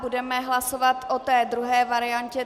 Budeme hlasovat o té druhé variantě.